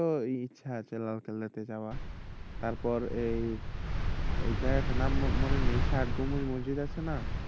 তো ইচ্ছে আছে লালকেল্লা তে যাওয়া তারপর এই এই জায়গাটার নাম মনে নেই ষাটগম্বুজ মসজিদ আছে না?